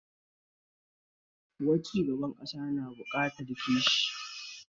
Kawo cigaban ƙasa na buƙatar kishi